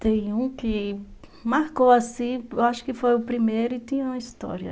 Tem um que marcou assim, eu acho que foi o primeiro e tinha uma história.